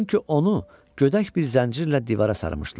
Çünki onu gödək bir zəncirlə divara sarmışdılar.